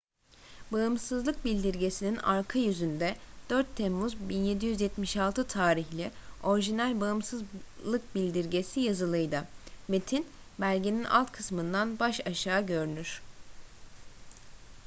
bağımsızlık bildirgesi'nin arka yüzünde 4 temmuz 1776 tarihli orijinal bağımsızlık bildirgesi yazılıydı metin belgenin alt kısmında baş aşağı görünür